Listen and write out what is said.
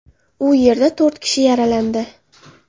U yerda to‘rt kishi yaralandi.